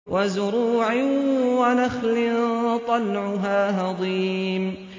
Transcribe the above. وَزُرُوعٍ وَنَخْلٍ طَلْعُهَا هَضِيمٌ